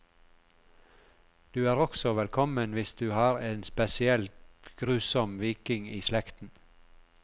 Du er også velkommen hvis du har en spesielt grusom viking i slekten.